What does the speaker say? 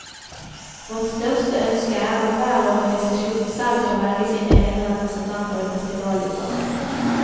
Vårt største ønske er at hver organisasjon selv får velge sine egne representanter i festivalutvalget.